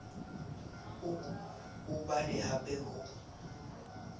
o o bale hape ho